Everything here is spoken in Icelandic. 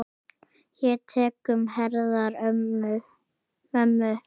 Ég tek um herðar mömmu.